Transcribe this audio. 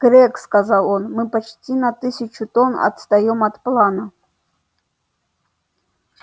грег сказал он мы почти на тысячу тонн отстаём от плана